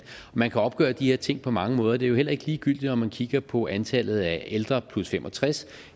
man kan opgøre de her ting på mange måder det er jo heller ikke ligegyldigt om man kigger på antallet af ældre på 65